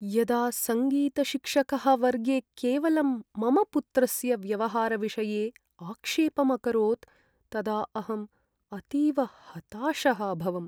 यदा सङ्गीतशिक्षकः वर्गे केवलं मम पुत्रस्य व्यवहारविषये आक्षेपम् अकरोत् तदा अहम् अतीव हताशः अभवम्।